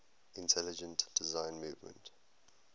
intelligent design movement